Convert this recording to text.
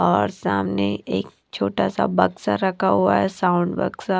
और सामने एक छोटा सा बक्सा रखा हुआ है साउंड बक्सा--